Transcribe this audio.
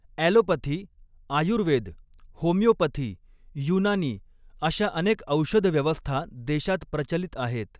Allopathy, Ayurveda, homoeopathy, Unani अशा अनेक औषधव्यवस्था देशात प्रचलित आहेत.